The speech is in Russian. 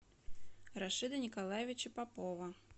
рашида николаевича попова